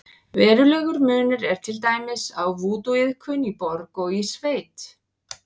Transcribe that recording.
Verulegur munur er til dæmis á vúdúiðkun í borg og í sveit.